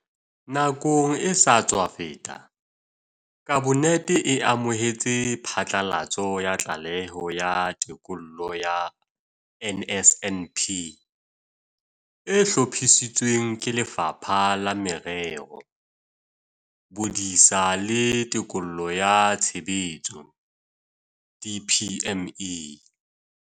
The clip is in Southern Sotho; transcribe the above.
Nakong e sa tswa feta, Kabinete e amohetse phatlalatso ya Tlaleho ya Tekolo ya NSNP e hlophisitsweng ke Lefapha la Merero, Bodisa le Tekolo ya Tshebetso, DPME.